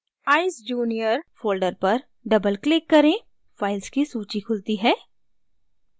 eyesjunior folder पर double click करें files की सूची खुलती है